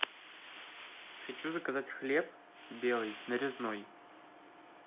хочу заказать хлеб белый нарезной